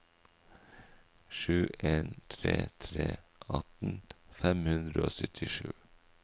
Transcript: sju en tre tre atten fem hundre og syttisju